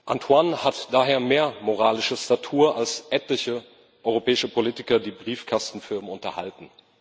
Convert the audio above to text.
Antoine hat daher mehr moralische Statur als etliche europäische Politiker, die Briefkastenfirmen unterhalten.